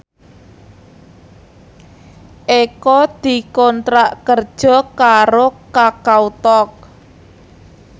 Eko dikontrak kerja karo Kakao Talk